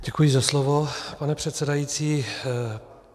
Děkuji za slovo, pane předsedající.